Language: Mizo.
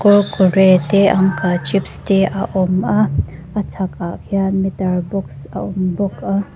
kurkure te uncle chips te a awm a a chhak ah khian meter box a awm bawk a.